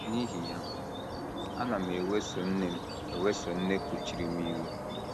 N’ihi ya, ana m eweso nne m eweso nne kuchiri m iwe.